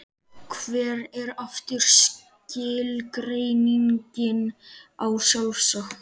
Hver er aftur skilgreiningin á sjálfsagt?